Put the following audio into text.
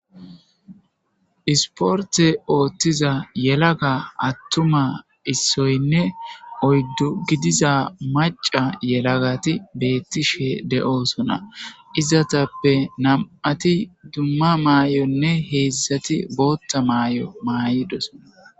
Isporte ooththiza yelaga attuma issoynne oyddu gidiza maca yelagati beettishe de7oosona izatappe nam7ati dumma maay7onne heedzdzati bootta maay7o maayidoso.